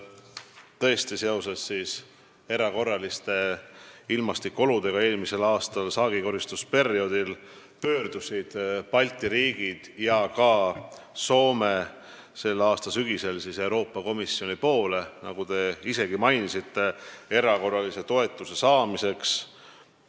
Tõesti, seoses erakorraliste ilmastikuoludega eelmise aasta saagikoristusperioodil pöördusid Balti riigid ja Soome sügisel Euroopa Komisjoni poole, nagu te isegi mainisite, erakorralise toetuse saamiseks.